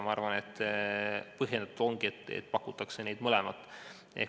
Ma arvan, et põhjendatud ongi, et abi pakuvad mõlemad.